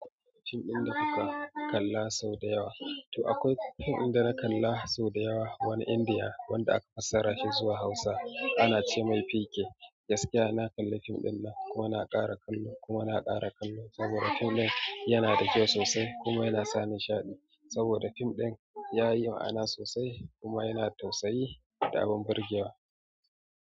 Film din kake kallo sau da yawa, to akwai film din da na kalla sau da yawa wani india wanda aka fassara shi zuwa hausa ana ce mai pk. Gaskiya na kalli fim dinnan kuma na ƙara kallo kuma na ƙara kallo saboda fim ɗin yana da kyau sosai kuma yana sa nishaɗi saboda fim ɗin yayi ma'ana sosai kuma yana da tausayi da abin burgewa.